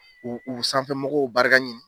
U u sanfɛmɔgɔw barika ɲini.